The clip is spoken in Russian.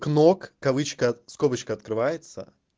кнок ковычка скобочка открывается